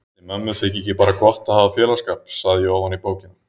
Ætli mömmu þyki ekki bara gott að hafa félagsskap, sagði ég ofan í bókina.